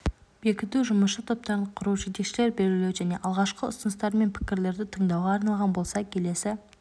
бекіту жұмысшы топтарын құру жетекшілер белгілеу және алғашқы ұсыныстар мен пікірлерді тыңдауға арналған болса келесі